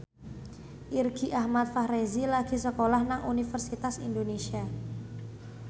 Irgi Ahmad Fahrezi lagi sekolah nang Universitas Indonesia